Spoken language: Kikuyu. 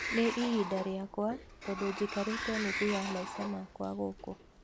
Nĩ ĩbinda rĩakwa tondu jikarite nuthu ya maisha makwa gũkũ